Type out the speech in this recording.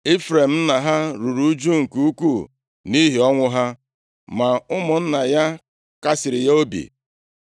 Ifrem nna ha ruru ụjụ nke ukwuu nʼihi ọnwụ ha, ma ụmụnna ya kasịrị ya obi.